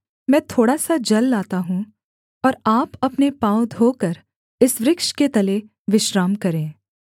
मैं थोड़ा सा जल लाता हूँ और आप अपने पाँव धोकर इस वृक्ष के तले विश्राम करें